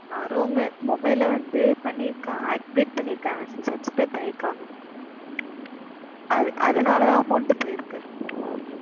mobile ல வந்து பண்ணியிருக்காங்க, activate பண்ணியிருக்காங்க, subscribe பண்ணியிருக்காங்க உம் அதனால தான் amount போயிருக்கு.